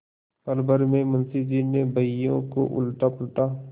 पलभर में मुंशी जी ने बहियों को उलटापलटा